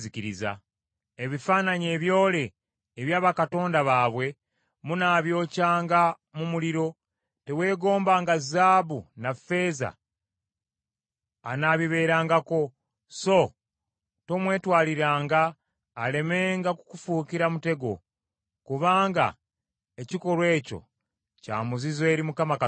Ebifaananyi ebyole ebya bakatonda baabwe munaabyokyanga mu muliro. Teweegombanga zaabu na ffeeza anaabibeerangako. So tomwetwaliranga alemenga kukufuukira mutego; kubanga ekikolwa ekyo kya muzizo eri Mukama Katonda wo.